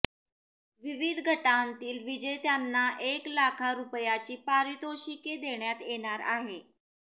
विविध गटांतील विजेत्यांना एक लाखा रुपयांची पारितोषिके देण्यात येणार आहे